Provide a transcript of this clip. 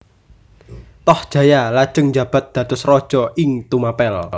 Tohjaya lajeng njabat dados raja ing Tumapel